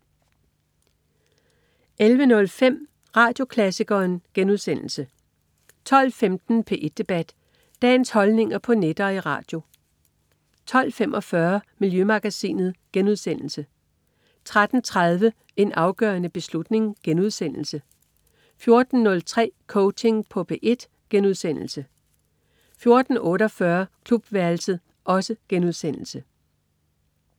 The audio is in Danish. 11.05 Radioklassikeren* 12.15 P1 Debat. Dagens holdninger på net og i radio 12.45 Miljømagasinet* 13.30 En afgørende beslutning* 14.03 Coaching på P1* 14.48 Klubværelset*